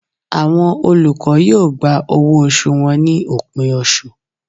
Awọn olukọ yoo gbá ọwọ osù wọn ni opin oṣú